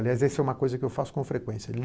Aliás, essa é uma coisa que eu faço com frequência.